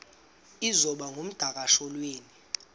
iza kuba ngumdakasholwana